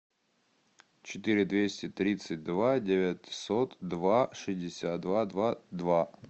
четыре двести тридцать два девятьсот два шестьдесят два два два